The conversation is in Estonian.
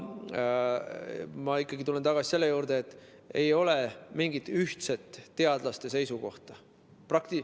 Ma ikkagi tulen tagasi selle juurde, et ei ole mingit ühtset teadlaste seisukohta.